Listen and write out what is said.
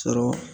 Sɔrɔ